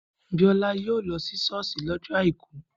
Biola yóò lọ sí ṣọ́ọ̀ṣì lọ́jọ́ àìkú